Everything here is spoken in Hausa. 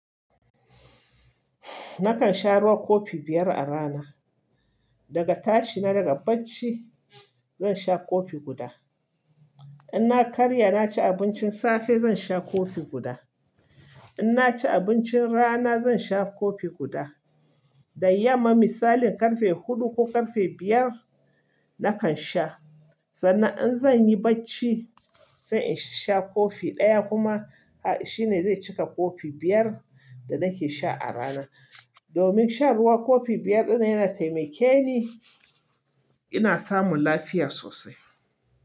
Nakan sha ruwan kofi biyar a rana. Daga tashi na daga bacci, zan sha kofi guda. In na karya na ci abincin safe, zan sha kofi guda. In na ci abincin rana, zan sha kofi guda. Da yamma misali karfe huɗu ko karfe biyar nakan sha. Sannan in zan yi bacci, sai in sha kofi ɗaya kuma shine zai cika kofi biyar da nake sha a rana. Domin shan ruwan kofi biyar ɗina yana taimake ni, ina samun lafiya sosai.